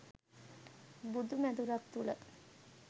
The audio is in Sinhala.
බුදු මැදුරක් තුළ